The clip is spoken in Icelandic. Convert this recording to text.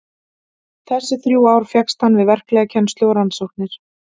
Þessi þrjú ár fékkst hann við verklega kennslu og rannsóknir.